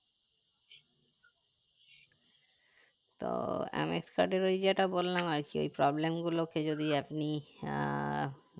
তো MX card এর ওই যেটা বললাম আরকি ওই problem গুলোকে যদি আপনি আহ